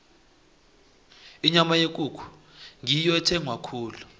inyama yekukhu ngiyo ethengwa khulu